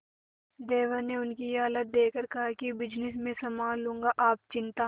देवर ने उनकी ये हालत देखकर कहा कि बिजनेस मैं संभाल लूंगा आप चिंता